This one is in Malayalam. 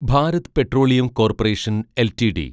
Bharat petroleum corporation LTD